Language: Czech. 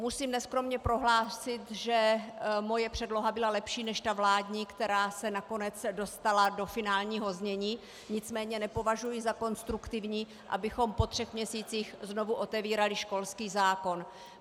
Musím neskromně prohlásit, že moje předloha byla lepší než ta vládní, která se nakonec dostala do finálního znění, nicméně nepovažuji za konstruktivní, abychom po třech měsících znovu otevírali školský zákon.